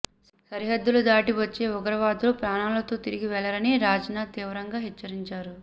సరిహద్దులు దాటి వచ్చే ఉగ్రవాదులు ప్రాణాలతో తిరిగి వెళ్లరని రాజ్నాథ్ తీవ్రంగా హెచ్చరించారు